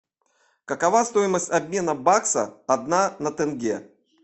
какова стоимость обмена бакса одна на тенге